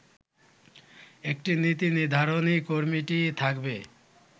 একটি নীতি নির্ধারণী কমিটি থাকবে